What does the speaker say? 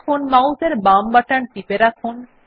এখন মাউস এর বাম বাটন টিপে রাখুন